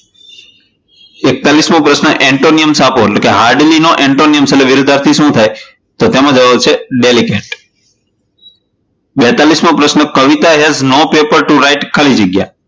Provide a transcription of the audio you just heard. એકતાલિશમો પ્રશ્ન antonyms આપો એટલે કે hardly નો antonyms એટલે કે વિરોધાર્થી શું થાય? તો તેમાં જવાબ આવશે delicant બેતાલીસ મો પ્રશ્ન Kavita has no pepper to write ખાલી જગ્યા.